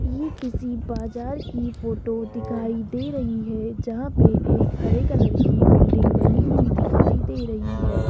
ये किसी बाजार की फोटो दिखाई दे रही है जहां पे एक हरे कलर की बिल्डिंग बनी हुई दिखाई दे रही है।